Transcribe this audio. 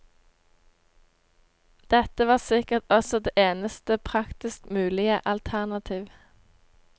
Dette var sikkert også det eneste praktisk mulige alternativ.